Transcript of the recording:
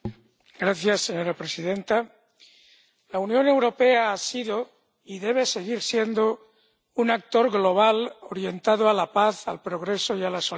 Señora presidenta, la Unión Europea ha sido y debe seguir siendo un actor global orientado a la paz, al progreso y a la solidaridad.